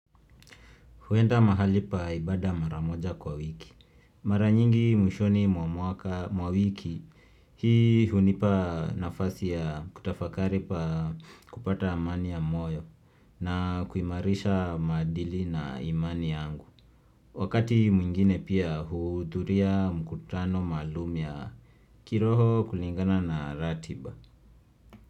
Huenda mahali pa ibada maramoja kwa wiki. Maranyingi mwishoni mwamuaka mwiki hii hunipa nafasi ya kutafakaripa kupata amani ya moyo na kuimarisha madili na imani yangu. Wakati mwingine pia hudhuria mkutano malumu ya kiroho kulingana na ratiba.